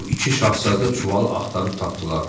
Bu iki şahzadə çuvalı axtarıb tapdılar.